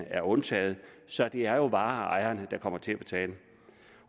er undtaget så det er jo vareejerne der kommer til at betale